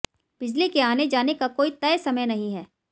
बिजली के आने जाने का कोई तय समय नहीं है